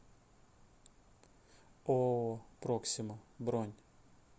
ооо проксима бронь